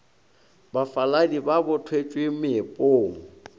bafaladi ba bo thwetšwe meepong